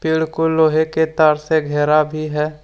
बिल्कुल लोहे के तार से घेरा भी है।